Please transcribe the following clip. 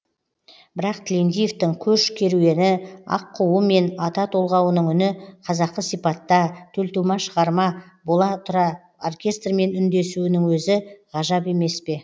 бірақ тілендиевтің көш керуені аққуы мен ата толғауының үні қазақы сипатта төлтума шығарма бола тұра оркестрмен үндесуінің өзі ғажап емес пе